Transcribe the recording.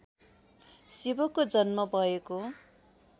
शिवको जन्म भएको